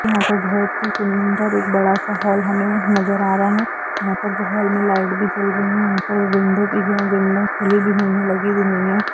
यहां पर बहुत ही सुन्दर एक बड़ा सा हॉल हमें नज़र आ रहा है यहां पर बगल में लाइट भी जल रही है यहा पर विंडो भी है विंडो खुली भी हुई है लगी भी हुई है।